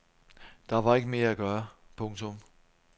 Der var ikke mere at gøre. punktum